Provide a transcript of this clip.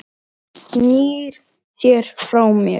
Hann bætir um betur.